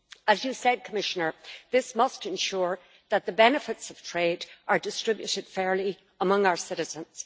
As you said, Commissioner, this must ensure that the benefits of trade are distributed fairly among our citizens.